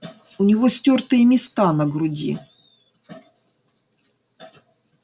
у него стёртые места на груди